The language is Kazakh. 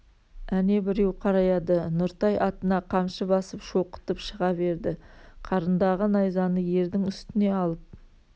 әне біреу қараяды нұртай атына қамшы басып шоқытып шыға берді қарындағы найзаны ердің үстіне алып